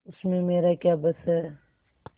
उसमें मेरा क्या बस है